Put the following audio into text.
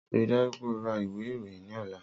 Rii daju pe o ra iwe iroyin ni ọla!